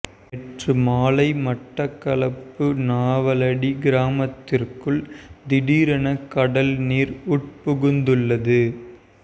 நேற்று மாலை மட்டக்களப்பு நாவலடி கிராமத்திற்குள் திடீரென கடல் நீர் உட்புகுந்துள்ளது